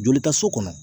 Joli ta so kɔnɔ